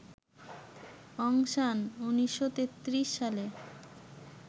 অং San ১৯৩৩ সালে